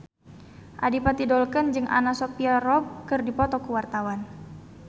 Adipati Dolken jeung Anna Sophia Robb keur dipoto ku wartawan